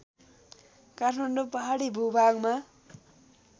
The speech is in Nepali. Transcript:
काठमाडौँ पहाडी भूभागमा